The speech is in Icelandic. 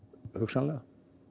hugsanlega